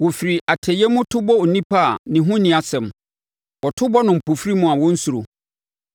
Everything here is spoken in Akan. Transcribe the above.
Wɔfiri atɛeɛ mu, to bɔ onipa a ne ho nni asɛm; wɔto bɔ no mpofirim a wɔnsuro.